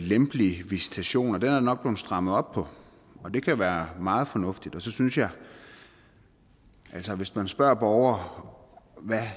lempelig visitation er nok blevet strammet op og det kan være meget fornuftigt og så synes jeg at hvis man spørger borgere om hvad